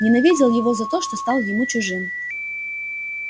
ненавидел его за то что стал ему чужим